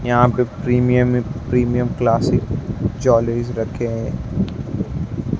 यहां पे premium premium classic jewelleries रखें है।